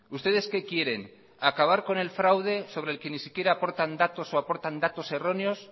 ustedes que quieren acabar con el fraude sobre el que ni siquiera aportan datos o aportan datos erróneos